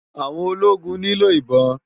Áwòn ólógún ni ló ibòn